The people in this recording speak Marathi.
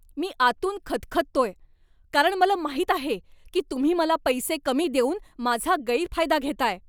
मी आतून खदखदतोय, कारण मला माहित आहे की तुम्ही मला पैसे कमी देऊन माझा गैरफायदा घेताय.